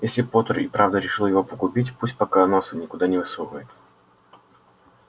если поттер и правда решил его погубить пусть пока носа никуда не высовывает